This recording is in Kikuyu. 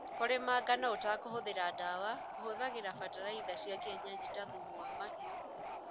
Kũrĩma ngano ũtakũhũthĩra dawa kũhũthagĩra bataraitha cia kienyeji ta thumu wa mahiu.